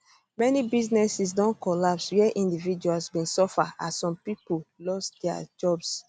many businesses don collapse wia individuals bin suffer as some pipo lose dia jobs